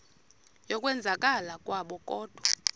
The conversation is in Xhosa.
yokwenzakala kwabo kodwa